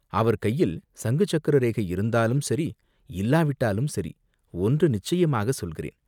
அவர் கையில் சங்கு சக்கர ரேகை இருந்தாலும் சரி, இல்லாவிட்டாலும் சரி, ஒன்று நிச்சயமாக சொல்கிறேன்.